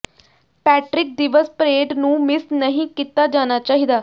Patrick ਦਿਵਸ parade ਨੂੰ miss ਨਹੀਂ ਕੀਤਾ ਜਾਣਾ ਚਾਹੀਦਾ